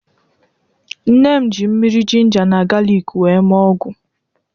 Nne m ji mmiri jinja na galiik wee mee ọgwụ